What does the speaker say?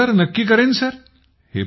हो नक्की करेन सर